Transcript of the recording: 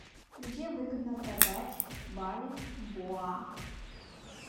где выгодно продать бальбоа